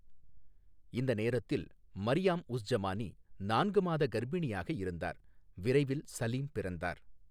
இந்த நேரத்தில் மரியாம் உஸ் ஜமானி நான்கு மாத கர்ப்பிணியாக இருந்தார், விரைவில் சலீம் பிறந்தார்.